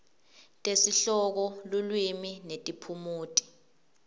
tesihloko lulwimi netiphumuti